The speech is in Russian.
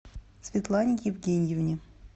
светлане евгеньевне